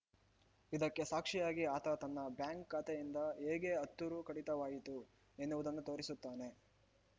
ಇದಕ್ಕೆ ಸಾಕ್ಷಿಯಾಗಿ ಆತ ತನ್ನ ಬ್ಯಾಂಕ್‌ ಖಾತೆಯಿಂದ ಹೇಗೆ ಹತ್ತು ರು ಕಡಿತವಾಯಿತು ಎನ್ನುವುದನ್ನೂ ತೋರಿಸುತ್ತಾನೆ